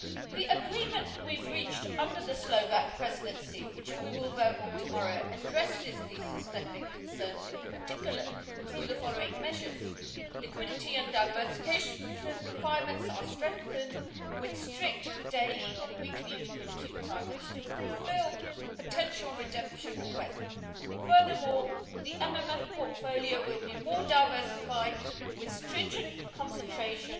The agreement we have reached under the Slovak Presidency that we will vote on tomorrow addresses these systemic concerns, in particular through the following measures liquidity and diversification requirements are strengthened, with strict daily and weekly liquidity requirements to fulfil potential redemption requests, and furthermore, the MMF portfolio will be more diversified, with stringent concentration